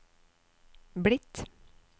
blitt